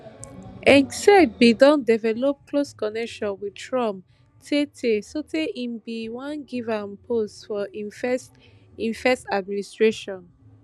hegseth bin don develop close connection wit trump tey tey sotey im bin wan give am post for im first im first administration